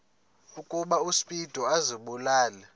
ukuba uspido azibulale